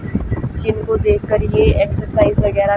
gym को देखकर ये एक्सरसाइज वगैरा--